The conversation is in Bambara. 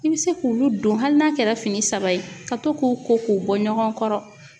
I bɛ se k'olu don hali n'a kɛra fini saba ye ka to k'o ko k'u bɔ ɲɔgɔn kɔrɔ